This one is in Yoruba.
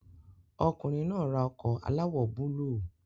Ọkùnrin náà ra ọkọ̀ aláwọ̀ búlúù